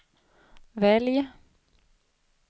välj